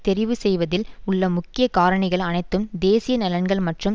தெரிவுசெய்வதில் உள்ள முக்கிய காரணிகள் அனைத்தும் தேசிய நலன்கள் மற்றும்